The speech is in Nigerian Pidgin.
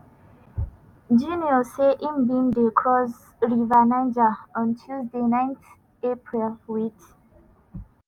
instagram account na about how actors risk dia lives to entertain dia fans.